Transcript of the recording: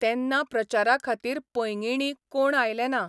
तेन्ना प्रचारा खातीर पैंगिणी कोण आयले ना.